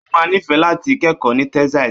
Ó máa nífẹ̀ẹ́ láti kẹ́kọ̀ọ́ ní Texas.